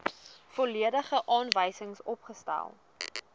volledige aanwysings opgestel